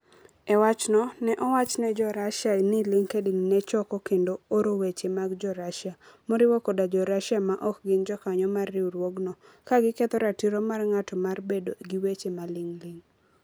E wachno, ne owach ne jo Russia ni LinkedIn ne choko kendo oro weche mag jo Russia, moriwo koda Jo-Russia ma ok gin jokanyo mar riwruogno, ka giketho ratiro mar ng'ato mar bedo gi weche maling'ling'.